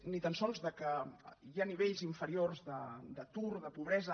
ni tan sols del fet que hi hagi nivells inferiors d’atur de pobresa